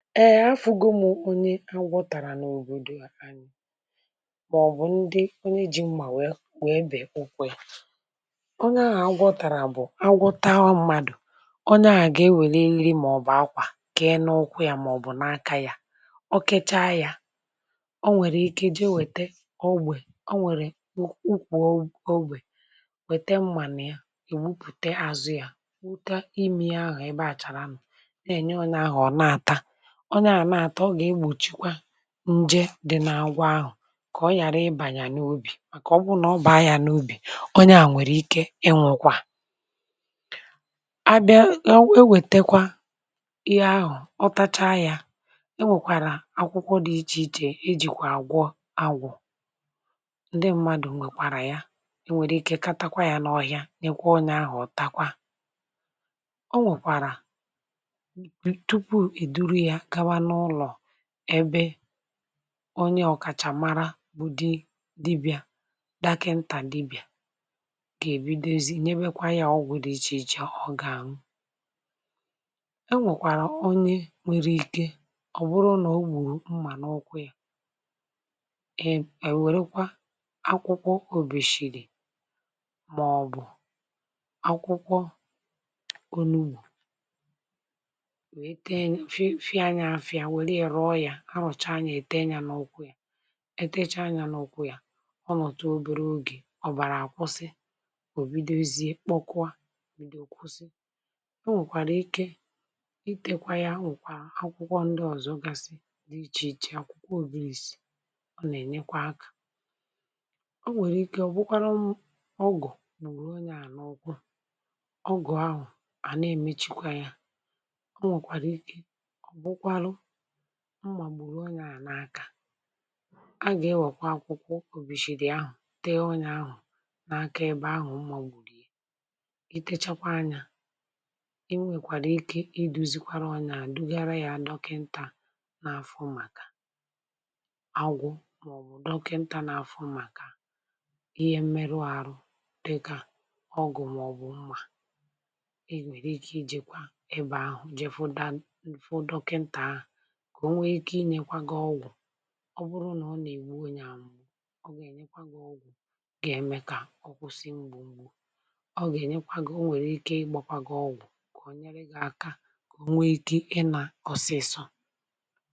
ee afùgumu onye agwọtàrà n’òbòdò anyi maọbụ̀ ndị onye ji mmà um wee wee bè ukwe ya onye ahụ̀ agwọtàrà bụ̀ agwọtaa ọmàdụ̀ onye à ga-ewere iri um maọbụ̀ akwà ke na okwu ya maọbụ̀ n’aka ya o kecha ya o nwere ike jee wète ogbè um o nwèrè ukwu ogbè wète mmànà ya ègbupùte azụ ya wute imi ahụ̀ ebe àchàrà nọ̀ na-ènye onye ahụ̀ um ọ̀na àta nje dị na agwa ahụ̀ kà ọ ghàra ịbà n’obì màkà ọbụrụ nà ọ bụ̀ ahịa n’obì onye à nwèrè ike ịnwọ̀kwa a bịa e wètekwa ihe ahụ̀ ọtacha yȧ e nwèkwàrà akwụkwọ dị ichè ichè e jìkwà àgwọ agwọ̇ ǹdị m̀madụ̇ um nwèkwàrà ya e nwèrè ike katakwa yȧ n’ọhịa n’ekwe onye ahụ̀ ọ takwa o nwèkwàrà onye ọ̀kàchà mara bụ di dibịa um daka ntà dibịà gà èbidozi nà ebekwa ya ọgwụ̀ dị ichè ichè ọ̀gà àṅụ enwèkwàrà onye nwere ike um ọ̀ bụrụ nà o gbùrù mmà n’ọkụ yȧ eè nwèrekwa akwụkwọ òbèshìrì maọbụ̀ akwụkwọ ha rọ̀chaa ya ète ya n’okwu ya um ètecha ya n’okwu ya ọ nọ̀tụ obere ogè ọ bàrà àkwọsị um ò bidozie kpọkwa mìdòkwụsị o nwèkwàrà ike itėkwa ya a nwèkwà akwụkwọ ndị ọ̀zọ gasị dị ichè ichè akwụkwọ òbulis um ọ nà-ènyekwa akȧ o nwèrè ike um ọ̀ bụkwarụ ụmụ ọgụ̀ nụ̀rụ onye à n’ọkụ ọgụ ahụ à na-èmechikwa ya mmàgbùrù um onye à n’aka a gà-ewèkwa akwụkwọ òkwùbìshìrì ahù tee onye ahù n’aka um ebe ahù mmàgbùrù i techakwa anyȧ i nwèkwàrà ike iduzikwara onye à dugara yȧ dọkịntà n’afọ màkà agwụ um maọbụ̀ dọkịntà n’afọ màkà ihe mmeru àrụ dịkà ọgù um maọbụ̀ mmà i nwèrè ike ijikwa ebe ahù jee fụda fụ dọkịntà ahù um ọ bụrụ nà ọ nà-ègbu anyi ànwụọ ọ gà-ènyekwa gị ọgwụ̀ gà-ème kà ọ kwụsị mgbù mgbù um ọ gà-ènyekwa gị o nwèrè ike ịgbȧkwa gị ọgwụ̀ kà o nyere gị aka kà o nwee ike ị nà ọsịsọ